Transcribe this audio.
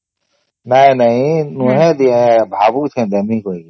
ନାଇଁ ନାଇଁ ମୁଇ ଭାବୁଛେ ଦେବୀ ବୋଲି